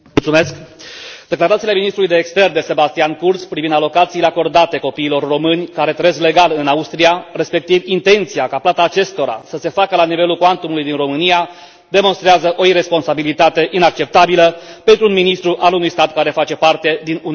Declarațiile ministrului de externe Sebastian Kurz privind alocațiile acordate copiilor români care trăiesc legal în Austria, respectiv intenția ca plata acestora să se facă la nivelul cuantumului din România, demonstrează o iresponsabilitate inacceptabilă pentru un ministru al unui stat care face parte din Uniunea Europeană.